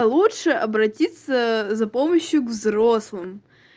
лучше обратиться за помощью к взрослому